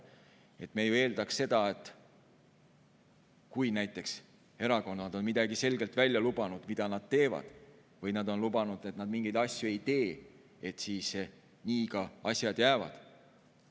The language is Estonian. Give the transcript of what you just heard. Me eeldaksime siiski seda, et kui näiteks erakonnad on selgelt lubanud midagi, mida nad teevad, või nad on lubanud, et nad mingeid asju ei tee, siis asjad nii ka jäävad.